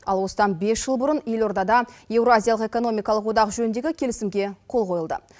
ал осыдан бес жыл бұрын елордада еуразиялық экономикалық одақ жөніндегі келісімге қол қойылды